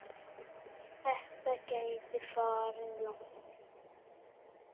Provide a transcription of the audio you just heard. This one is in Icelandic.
Þetta gæti farið langt.